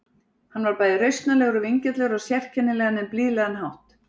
Hann var bæði rausnarlegur og vingjarnlegur á sérkennilegan en blíðlegan hátt.